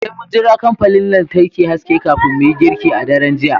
Sai mun jira kamfanin lantarki haske kafin mu yi girki a daren jiya